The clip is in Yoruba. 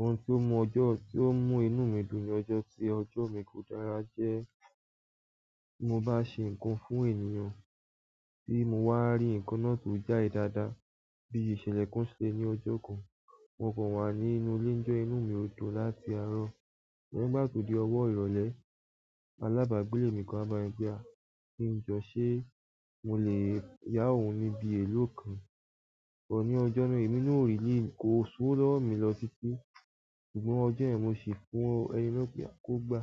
Ohun tó mú ọjọ́ tí ó mú inú mi dùn ní ọjọ́ tí ọjọ́ mi kò dára jẹ́, tí mo bá ṣe nǹkan fún ènìyàn tí mo wá rí nǹkan náà tó jáde dáadáa bí ìṣẹ̀lẹ̀ kan ṣẹlẹ̀ ní ọjọ́ kan. Mo kàn wà nínú ilé njọ́ yẹn inú mi ò tó láti àárọ̀. Nigbá tó di ọwọ́ ìrọ̀lẹ́ Alaba gbélé mi kàn wa bámi pe, kín jọ ṣe mo lè yà ohùn ni bi elo kan but ni ọjọ́ náà, emi na ò really kò sowo lọwọ mi lọ títí. Ṣùgbọ́n ọjọ́ yẹ̀n mo ṣi fún ẹni náà pé a kò gba.